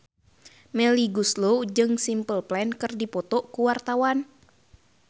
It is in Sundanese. Melly Goeslaw jeung Simple Plan keur dipoto ku wartawan